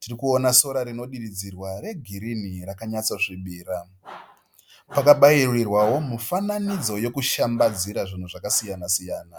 Tiri kuona sora rinonyatsodiridzwa regirini rakanyatsosvibira. Pakabairirwawo mufanidzo yokushambadzira zvinhu zvakasiyana-siyana.